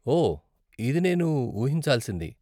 ఓహ్ ఇది నేను ఊహించాల్సింది.